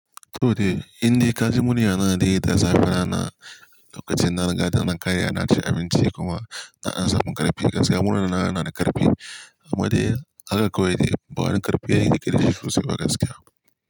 Toh dai, indai kaji muryana dai da zafin rana, lokacin na rigada nan kan ina cin abinci kuma ina samun ƙarfi gaskiya. Muryana yana ƙarfi amma dai haka kawai dai bawani ƙarfi yake dashi ba gaskiya.